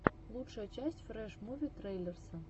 лучшая часть фрэш муви трейлерса